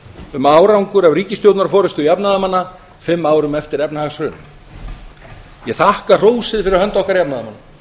um árangur af ríkisstjórnar forustu jafnaðarmanna fimm árum eftir efnahagshrun ég þakka hrósið fyrir hönd okkar jafnaðarmanna